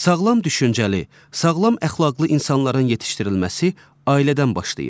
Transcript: Sağlam düşüncəli, sağlam əxlaqlı insanların yetişdirilməsi ailədən başlayır.